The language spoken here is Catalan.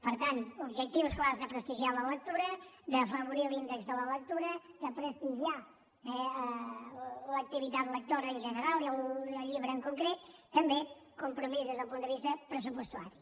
per tant objectius clars de prestigiar la lectura d’afavorir l’índex de la lectura de prestigiar l’activitat lectora en general i el llibre en concret també compromís des del punt de vista pressupostari